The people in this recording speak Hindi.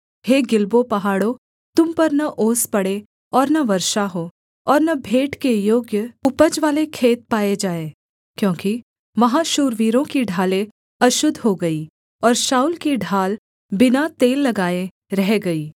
हे गिलबो पहाड़ों तुम पर न ओस पड़े और न वर्षा हो और न भेंट के योग्य उपजवाले खेत पाए जाएँ क्योंकि वहाँ शूरवीरों की ढालें अशुद्ध हो गईं और शाऊल की ढाल बिना तेल लगाए रह गई